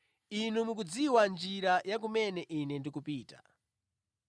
Inu mukudziwa njira ya kumene Ine ndikupita.”